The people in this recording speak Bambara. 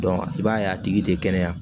i b'a ye a tigi tɛ kɛnɛya